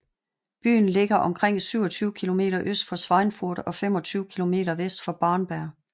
Byen ligger omkring 27 km øst for Schweinfurt og 25 km vest for Bamberg